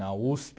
Na USP.